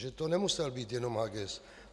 Že to nemusel být jenom Haguess.